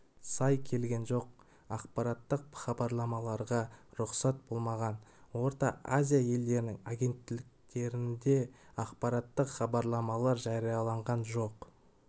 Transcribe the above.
сай келген жоқ ақпараттық хабарламаларға рұқсат болмаған орта азия елдерінің агенттіктерінде ақпараттық хабарламалар жарияланған жоқ